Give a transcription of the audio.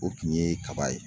O kun ye kaba ye.